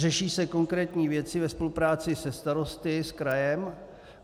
Řeší se konkrétní věci ve spolupráci se starosty, s krajem.